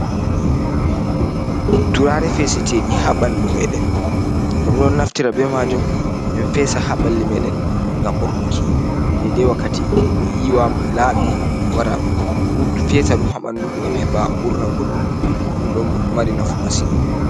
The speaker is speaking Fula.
Turare feseteɗi ha ɓandu meɗen, ɗum ɗo naftira be majuum min fesa ha ɓalli meeɗen gam urnuki, dede wakkati goddo yiwa laabi wara fesa ɗum haɓandu, gam heɓa urna godɗo ɗo mari nafu masin.